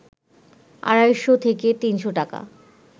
আড়াইশ থেকে ৩শ টাকা